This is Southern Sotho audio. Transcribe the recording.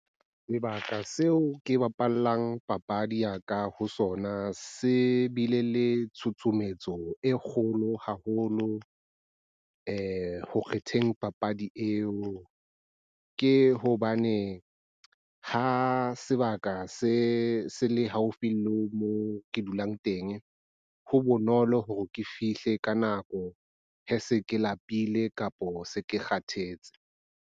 Sebaka seo ke bapallang papadi ya ka ho sona se bile le tshutshumetso e kgolo haholo ho kgetheng papadi eo. Ke hobane ha sebaka se se le haufi le moo ke dulang teng, ho bonolo hore ke fihle ka nako, ha se ke lapile kapo se ke kgathetse.